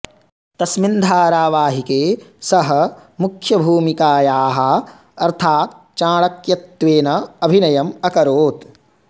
तस्मिन् धारावाहिके सः मुख्यभूमिकायाः अर्थात् चाणक्यत्वेन अभिनयम् अकरोत्